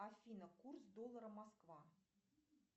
афина курс доллара москва